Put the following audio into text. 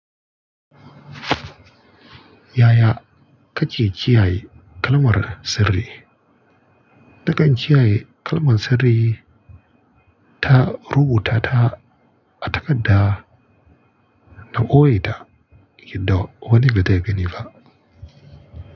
Yaya kake kiyaye kalmar sirri. Nakan kiyaye kalman sirri ta rubuta ta a takadda na boye ta, yadda wani bazai gani ba.